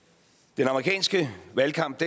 den amerikanske valgkamp